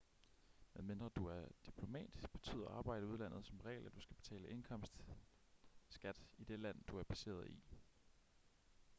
medmindre du er diplomat betyder arbejde i udlandet som regel at du skal betale indkomstskat i det land du er baseret i